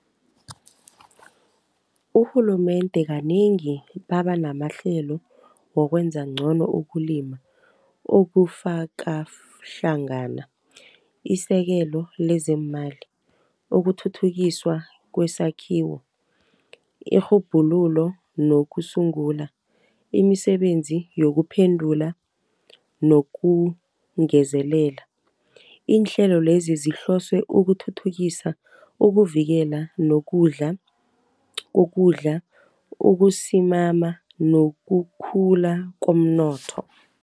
Urhulumende kanengi babanamahlelo wokwenza ngcono ukulima, okufaka hlangana isekelo lezeemali. Ukuthuthukiswa kwesakhiwo irhubhululo lokusungula, imisebenzi yokuphendula nokungezelela. Iinhlelo lezi zihlose ukuthuthukisa, ukuvikela, nokudla, ukusimama, nokukhula komnotho.